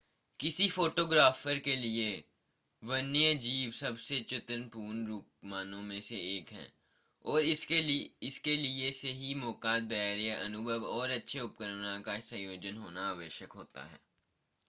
किसी फोटोग्राफर के लिए वन्यजीव सबसे चुनौतीपूर्ण रूपांकनों में से एक है और इसके लिए सही मौका धैर्य अनुभव और अच्छे उपकरणों का संयोजन होना आवश्यक होता है